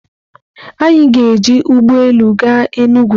Anyị ga-eji ụgbọ elu gaa Enugwu.